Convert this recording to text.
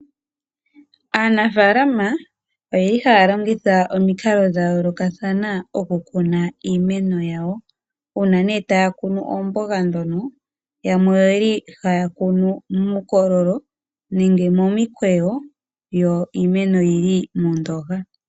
Aanafaalama oyeli haya longitha omikalo dha yoolokathana oku kuna iimeno yawo . Uuna taya kunu oomboga dhawo yamwe oyeli haya kunu muukulolo nenge momikweyo yyo iimeno oyili moondooha.